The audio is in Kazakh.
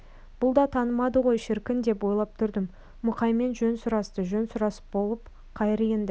бұл да танымады ғой шіркін деп ойлап тұрдым мұқаймен жөн сұрасты жөн сұрасып болып қайыр енді